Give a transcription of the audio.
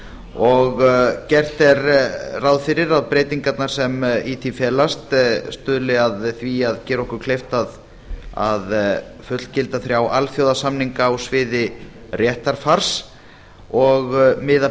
og gert er ráð fyrir að breytingarnar sem í því felast stuðli að því að gera okkur kleift að fullgilda þrjá alþjóðasamninga á sviði réttarfars og miða